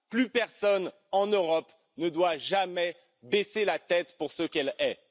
Plus personne en Europe ne doit jamais baisser la tête pour ce qu'elle est.